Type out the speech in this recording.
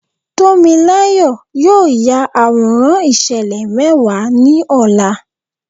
Tómiláyọ̀ yóò ya àwòrán ìṣẹ̀lẹ̀ mẹ́wàá ní ọ̀la.